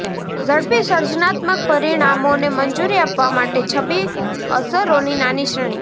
ઝડપી સર્જનાત્મક પરિણામોને મંજૂરી આપવા માટે છબી અસરોની નાની શ્રેણી